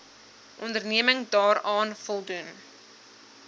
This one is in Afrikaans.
onderneming daaraan voldoen